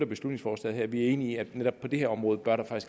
beslutningsforslaget her vi er enige i at netop på det her område bør der